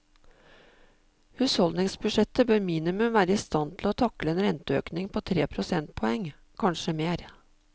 Husholdningsbudsjettet bør minimum være i stand til å takle en renteøkning på tre prosentpoeng, kanskje mer.